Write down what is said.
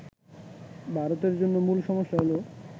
ভারতের জন্য মূল সমস্যা হল